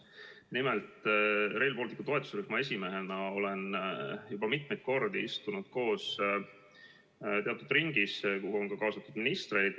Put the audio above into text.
Nimelt, Rail Balticu toetusrühma esimehena olen ma juba mitu korda istunud koos teatud ringis, kuhu on ka kaasatud ministreid.